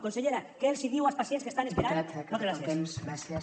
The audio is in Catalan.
consellera què els hi diu als pacients que estan esperant moltes gràcies